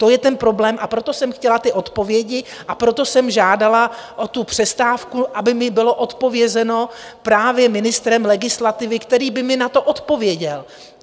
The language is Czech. To je ten problém, a proto jsem chtěla ty odpovědi, a proto jsem žádala o přestávku, aby mi bylo odpovězeno právě ministrem legislativy, který by mi na to odpověděl.